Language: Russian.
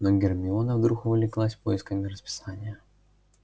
но гермиона вдруг увлеклась поисками расписания